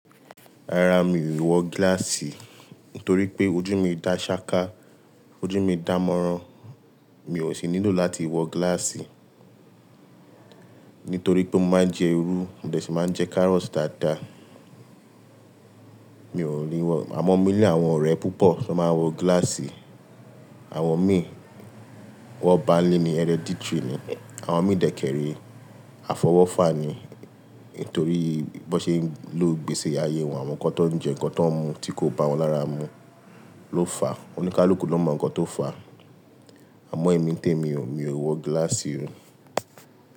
Rárá, mi ò wọ gíláàsì torí pé ojú mi dá ṣááká, ojú mi dámọ̀ran, mi ò sì nílò láti wọ gíláàsì. Nítorí pé mo máa ń jẹ irú, mo de sì máa ń jẹ kárọ̀otì dáadáa. Mi ò ní wọ-- àmọ́ mi ní àwọn ọ̀rẹ́ púpọ̀ ṣe ó máa ń wọ gíláàsì. Àwọn mi, wọn ba n lé ni, hereditary ni. Àwọn mi dẹ́kẹ́ rẹ́, afọwọ́fà ni. Nítorí bí wọ́n ṣe ń lò gbèsi ayé wọn, àwọn kan tan ń jẹ, nǹkan tan ń mun tí kò bá wọ́n lára mu ló fà. Òníkaluku ló mọ̀ nǹkan tó fà. Àmọ́ èmi ń tẹ mi ò, mi ò wọ gíláàsì ri.